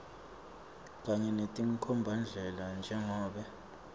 kanye netinkhombandlela njengobe